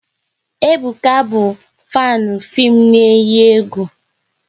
Ebuka bụ fanu fim na eyi egwu